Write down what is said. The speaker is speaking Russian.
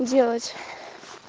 делать